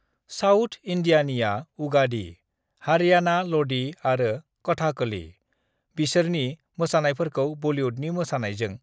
"South इन्दियानिया उगादि, हारियाना लदि आरो कथाकली। बिसोरनि मोसानायफोरखौ बलिउडनि मोसानायजों......"